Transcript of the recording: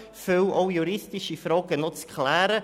Auch viele juristische Fragen sind noch zu klären.